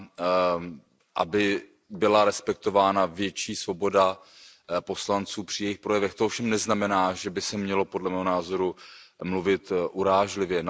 pro to, aby byla respektována větší svoboda poslanců při jejich projevech. To ovšem neznamená, že by se mělo podle mého názoru mluvit urážlivě.